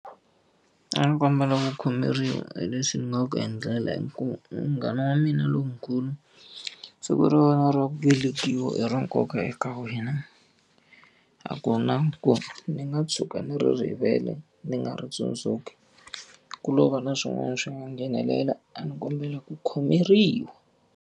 A ni kombela ku khomeriwa hi leswi ni nga ku endlela hikuva i munghana wa mina lonkulu. Siku ra wena ra ku velekiwa i ra nkoka eka wena, a ku na ku ni nga tshuka ni ri rivele ni nga ri tsundzuki. Ku lo va na swin'wana swi nga nghenelela, a ni kombela ku khomeriwa.